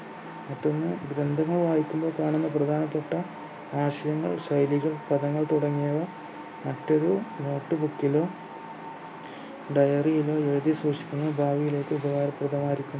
മറ്റൊന്ന് ഗ്രന്ഥങ്ങൾ വായിക്കുന്ന സമയം പ്രധാനപ്പെട്ട ആശയങ്ങൾ ശൈലികൾ പദങ്ങൾ തുടങ്ങിയവ മറ്റൊരു notebook ലോ diary ലോ എഴുതി സൂക്ഷിക്കുന്നത് ഭാവിയിലേക്ക് ഉപകാരപ്രദമായിരിക്കും